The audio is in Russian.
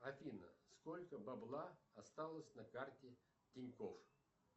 афина сколько бабла осталось на карте тинькофф